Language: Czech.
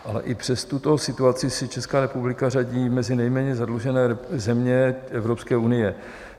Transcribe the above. Ale i přes tuto situaci se Česká republika řadí mezi nejméně zadlužené země Evropské unie.